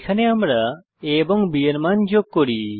এখানে আমরা a এবং b এর মান যোগ করি